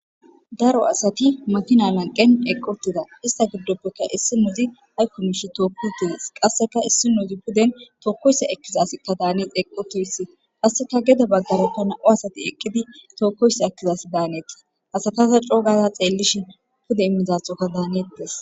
daro asati matina lanqen eqqotida ista giddoppeka issi muuzi haykkumishi tookku tees qasseka issi muuzi puden tookkoyssa ekkizas ta daanex eqotoyssi qasseka geda baggare ta na7u asati eqqidi tookkoyssa ekkizas daanetti asataza coogaza xeellishin pude immizaxoka daanettes